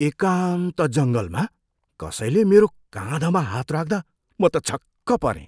एकान्त जङ्गलमा कसैले मेरो काँधमा हात राख्दा म त छक्क परेँ।